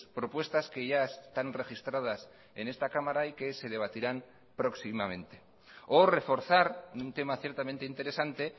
propuestas que ya están registradas en esta cámara y que se debatirán próximamente o reforzar un tema ciertamente interesante